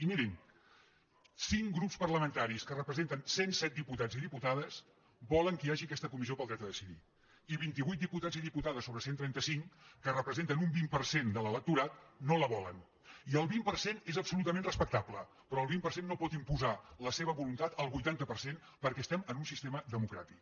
i mirin cinc grups parlamentaris que representen cent i set diputats i diputades volen que hi hagi aquesta comis·sió del dret a decidir i vint vuit diputats i diputades sobre cent i trenta cinc que representen un vint per cent de l’electorat no la volen i el vint per cent és absolutament respectable però el vint per cent no pot imposar la seva voluntat al vuitanta per cent perquè estem en un sistema democràtic